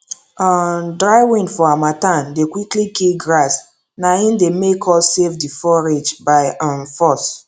um dry wind for hamattan dey quickly kill grass na im dey make us save the forage by um force